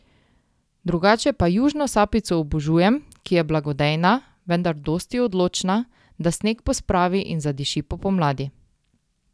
Drugače pa južno sapico obožujem, ki je blagodejna, vendar dosti odločna, da sneg pospravi in zadiši po pomladi.